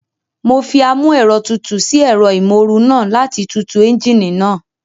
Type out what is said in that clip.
Mo fi amúẹ̀rọtutù sí ẹ̀rọ ìmóoru náà láti tutù ẹ́ńjíìnì náà